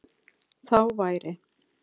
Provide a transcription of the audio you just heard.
Þá væri